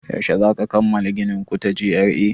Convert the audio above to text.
Yaushe zaku kammala ginin ku ta G.R.A?